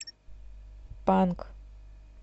панк